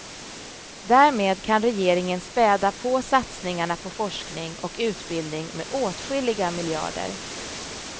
Därmed kan regeringen späda på satsningarna på forskning och utbildning med åtskilliga miljarder.